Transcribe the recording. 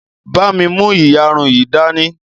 bá mí mú iyarun yí dání!